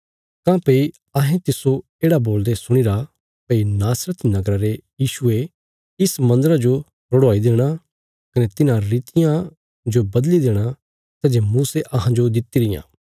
काँह्भई अहें तिस्सो येढ़ा बोलदे सुणीरा भई नासरत नगरा रे यीशुये इस मन्दरा जो रुढ़ाई देणा कने तिन्हां रितियां जो बदली देणा सै जे मूसे अहांजो दित्ति रियां